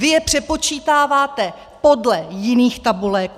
Vy je přepočítáváte podle jiných tabulek.